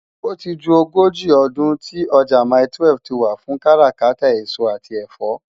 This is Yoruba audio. Óti jú ógóji òdún ti òjá mái-twèf tiwá fún kàrákàtá esó ati ẹfọ.